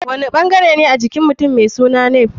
Wani ɓangarene a jikin mutum mai suna nape?